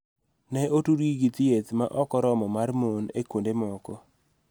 Ne otudgi gi thieth ma ok oromo mar mon e kuonde moko.